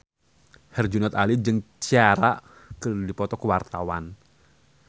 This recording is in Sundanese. Herjunot Ali jeung Ciara keur dipoto ku wartawan